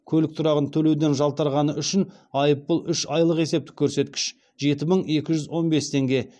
көлік тұрағын төлеуден жалтарғаны үшін айыппұл үш айлық есептік көрсеткіш